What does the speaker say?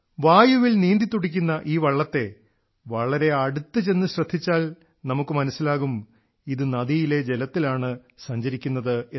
വായുവിൽ നീന്തിത്തുടിക്കുന്ന ഈ വള്ളത്തെ വളരെ അടുത്തു ചെന്നു ശ്രദ്ധിച്ചാൽ നമുക്ക് മനസ്സിലാകും ഇത് നദിയിലെ ജലത്തിലാണ് സഞ്ചരിക്കുന്നതെന്ന്